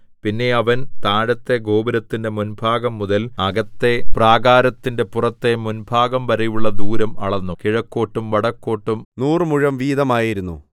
പിന്നെ അവൻ താഴത്തെ ഗോപുരത്തിന്റെ മുൻഭാഗം മുതൽ അകത്തെ പ്രാകാരത്തിന്റെ പുറത്തെ മുൻഭാഗംവരെയുള്ള ദൂരം അളന്നു കിഴക്കോട്ടും വടക്കോട്ടും നൂറുമുഴം വീതമായിരുന്നു